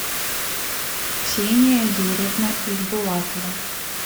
ксения юрьевна ижбулатова